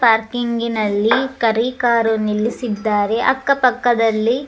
parking ನಲ್ಲಿ ಕರಿ car ನಿಲ್ಲಿಸಿದ್ದಾರೆ ಅಕ್ಕ ಪಕ್ಕದಲ್ಲಿ --